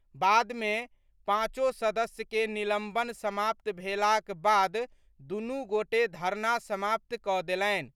बाद मे पाँचो सदस्य के निलंबन समाप्त भेलाक बाद दूनू गोटे धरना समाप्त कऽ देलनि।